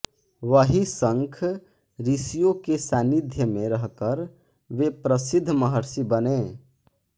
वही शंख ॠषियों के सानिध्य में रहकर वे प्रसिद्ध महर्षि बने